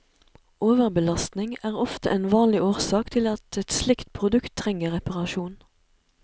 Overbelastning er ofte en vanlig årsak til at et slikt produkt trenger reparasjon.